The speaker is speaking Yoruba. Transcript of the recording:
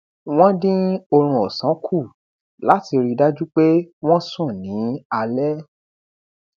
wọn din orun òsán kù láti ri dájú pé wọn sùn ni alé